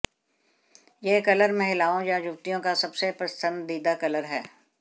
यह कलर महिलाओं या युवतियों का सबसे पसंदीदा कलर है